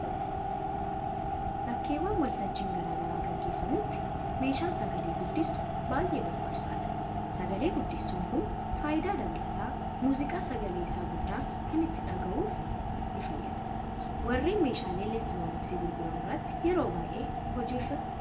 Bakkeewwan waltajjiin garaa garaa gaggeeffamutti meeshaan sagalee guddistuu baay'ee barbaachisaadha. Sagalee guddistuun kun faayidaa dabalataa muuziqaa sagalee isaa guddaa kanaan ittiin dhagahuufin nifayyada. warreen meeshaalee elektirooniksii gurguran biratti yeroo baay'ee hojii irra oola.